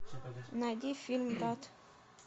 найди фильм брат